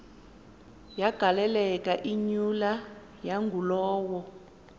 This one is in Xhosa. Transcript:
yagaleleka imyula yangulowo